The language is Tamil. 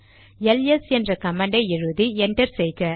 எல்எஸ் என்ற கமாண்டை எழுதி என்டர் செய்க